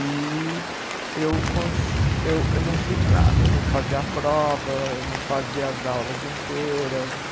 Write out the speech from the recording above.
E eu cons, eu eu não fiz nada, não fazia prova, não fazia as aulas inteiras.